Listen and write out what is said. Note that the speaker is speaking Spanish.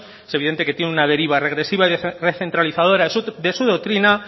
es evidente que tiene una deriva regresiva y recentralizadora de su doctrina